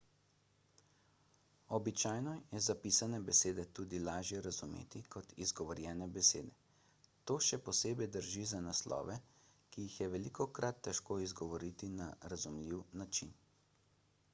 običajno je zapisane besede tudi lažje razumeti kot izgovorjene besede to še posebej drži za naslove ki jih je velikokrat težko izgovoriti na razumljiv način